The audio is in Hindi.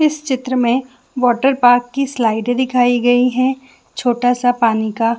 इस चित्र में वॉटर पार्क की स्लाइड दिखाई दे रही हैछोटा सा पानी का--